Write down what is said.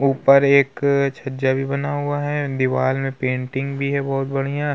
ऊपर एक छज्जा भी बना हुआ है. दीवाल में पेंटिंग भी है बहोत बणिया।